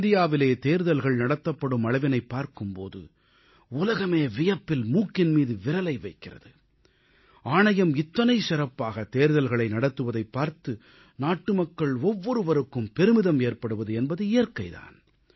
இந்தியாவில் தேர்தல்கள் நடத்தப்படும் அளவினைப் பார்க்கும் போது உலகமே வியப்பில் மூக்கின் மீது விரலை வைக்கிறது ஆணையம் இத்தனை சிறப்பாக தேர்தல்களை நடத்துவதைப் பார்த்து நாட்டுமக்கள் ஒவ்வொருவருக்கும் பெருமிதம் ஏற்படுவது என்பது இயற்கை தான்